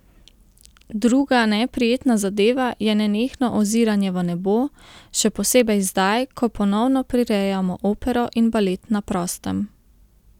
Druga neprijetna zadeva je nenehno oziranje v nebo, še posebej zdaj, ko ponovno prirejamo opero in balet na prostem.